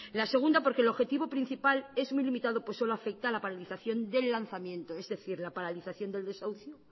la segunda porque el objetivo principal es muy limitado pues solo afecta la paralización del lanzamiento es decir la paralización del desahucio